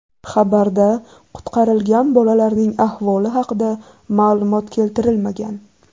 Xabarda qutqarilgan bolalarning ahvoli haqida ma’lumot keltirilmagan.